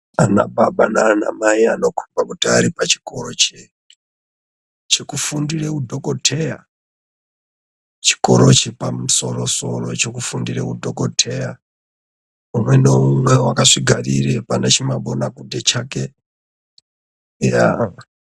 Vana baba nana Mai vanokomba kuti vari pachikora chekufundira udhokodheya chikora chepamusoro soro chekufundira udhokodheya umwe naumwe akazvigarira pane chimabonabuthe chake.